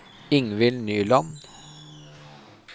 Ingvill Nyland